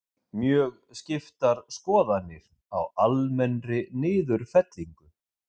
Mjög skiptar skoðanir á almennri niðurfellingu